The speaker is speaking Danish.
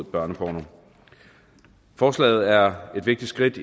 børneporno forslaget er et vigtigt skridt